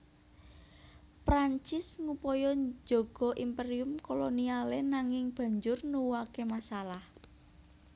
Prancis ngupaya njaga imperium kolonialé nanging banjur nuwuhaké masalah